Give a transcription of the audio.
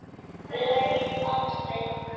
Ógild atkvæði